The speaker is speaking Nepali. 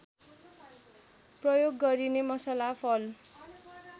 प्रयोग गरिने मसला फल